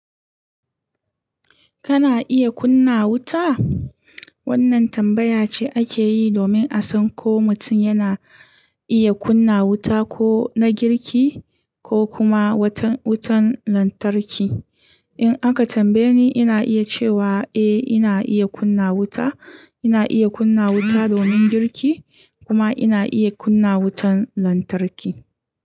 Kana iya kunna wuta? Wannan tambaya ce ake yi domin a san ko mutum yana iya kunna wuta, ko na girki ko kuma wutan lantarki. In aka tambaye ni, ina iya cewa "eh ina iya kunna wuta". Ina iya kunna wuta domin girki kuma ina iya kunna wutan lantarki.